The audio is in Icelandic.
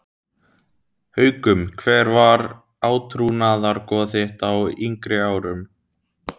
Haukum Hver var átrúnaðargoð þitt á yngri árum?